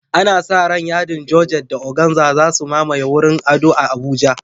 Ana sa ran yadin Georgette da organza za su mamaye wurin ado a Abuja.